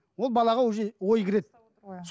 ол балаға уже ой кіреді